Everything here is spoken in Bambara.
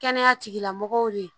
Kɛnɛya tigilamɔgɔw ye